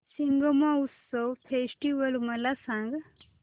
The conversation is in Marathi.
शिग्मोत्सव फेस्टिवल मला सांग